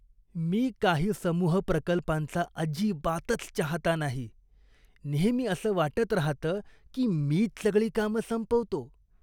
मी काही समूह प्रकल्पांचा अजिबातच चाहता नाही, नेहमी असं वाटत राहतं की मीच सगळी कामं संपवतो.